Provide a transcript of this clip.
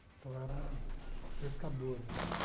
Então eram pescadores, né?